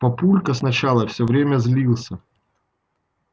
папулька сначала всё время злился